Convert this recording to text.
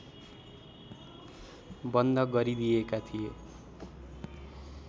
बन्द गरिदिएका थिए